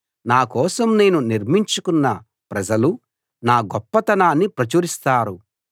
నా కోసం నేను నిర్మించుకున్న ప్రజలు నా గొప్పతనాన్ని ప్రచురిస్తారు